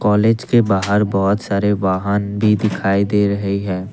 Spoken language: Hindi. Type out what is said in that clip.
कॉलेज के बाहर बहोत सारे वाहन भी दिखाई दे रहे है।